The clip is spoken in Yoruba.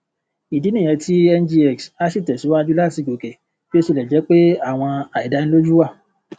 ìdí nìyẹn tí ngx asi tẹsíwájú láti gòkè bí ó tilẹ jẹ pé àwọn aidaniloju wà